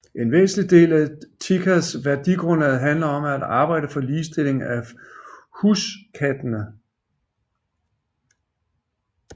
En væsentlig del af TICAs værdigrundlag handler om at arbejde for ligestilling af huskattene